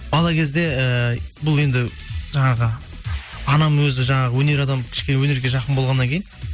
бала кезде ііі бұл енді жаңағы анам өзі жаңағы өнер адамы кіщкене өнерге жақын болғаннан кейін